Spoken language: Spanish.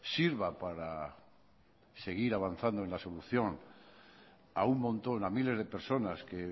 sirva para seguir avanzando en la solución a un montón a miles de personas que